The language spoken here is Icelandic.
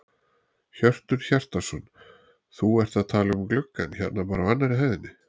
Hjörtur Hjartarson: Þú ert að tala um gluggann hérna bara á annarri hæðinni?